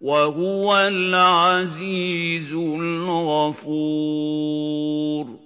وَهُوَ الْعَزِيزُ الْغَفُورُ